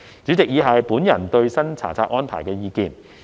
主席，以下是我對新查冊安排的意見。